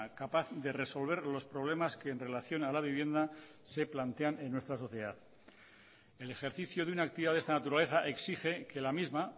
capaz de resolver los problemas que en relación a la vivienda se plantean en nuestra sociedad el ejercicio de una actividad de esta naturaleza exige que la misma